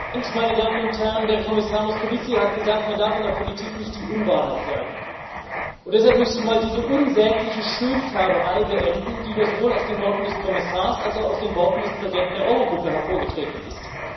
Herr Präsident, meine Damen und Herren! Der Kommissar Moscovici hat gesagt Man darf in der Politik nicht die Unwahrheit sagen, und deshalb möchte ich mal diese unsägliche Schönfärberei beenden, die hier sowohl aus den Worten des Kommissars als auch aus den Worten des Präsidenten der Euro Gruppe hervorgetreten ist.